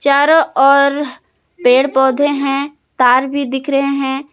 चारो और पेड़ पौधे हैं तार भी दिख रहे हैं।